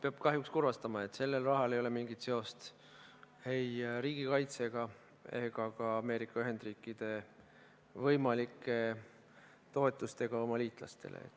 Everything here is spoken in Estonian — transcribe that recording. Peab kahjuks teid kurvastama, et sellel rahal ei ole mingit seost ei riigikaitsega ega ka Ameerika Ühendriikide võimalike toetustega oma liitlastele.